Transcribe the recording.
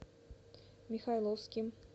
михайловским